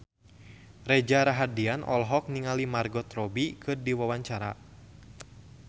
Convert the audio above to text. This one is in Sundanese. Reza Rahardian olohok ningali Margot Robbie keur diwawancara